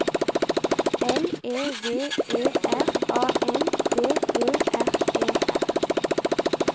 L E V E R A N D Ø R E R